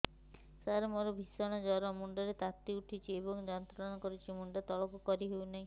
ସାର ମୋର ଭୀଷଣ ଜ୍ଵର ମୁଣ୍ଡ ର ତାତି ଉଠୁଛି ଏବଂ ଯନ୍ତ୍ରଣା କରୁଛି ମୁଣ୍ଡ ତଳକୁ କରି ହେଉନାହିଁ